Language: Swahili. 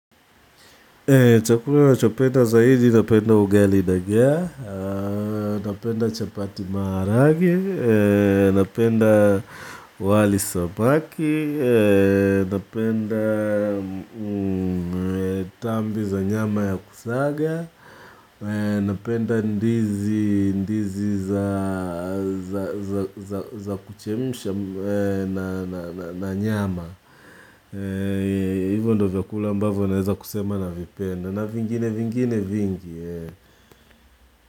Chakula nachopenda zaidi, napenda ugali dagaa, napenda chapati maharage, napenda wali samaki, napenda tambi za nyama ya kusaga, napenda ndizi za kuchemsha na nyama. Hivo ndo vyakula ambavyo naweza kusema navipenda. Na vingine vingine vingi.